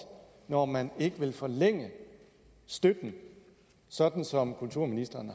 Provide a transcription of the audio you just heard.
når man ikke vil forlænge støtten sådan som kulturministeren